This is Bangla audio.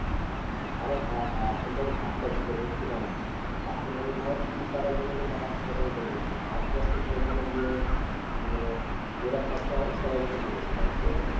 আরে হ্যাঁ হ্যাঁ এখন তো আমি Hard Cash দিতে বলছি না এখন আমি ধরো Ticket কাটার জন্য যে টাকাটা সেটা দিতে বলছি Hard Cash ধরে ওখানে গিয়ে মানে যেটা খরচা হবে সবাই মিলে দিবে সেটা বুঝতে পারলে